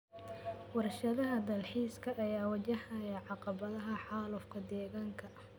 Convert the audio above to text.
Warshadaha dalxiiska ayaa wajahaya caqabadaha xaalufka deegaanka.